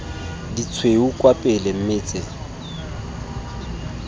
ditshweu kwa pele mme tse